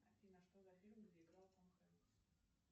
афина что за фильм где играл том хэнкс